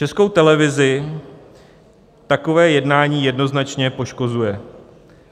Českou televizi takové jednání jednoznačně poškozuje.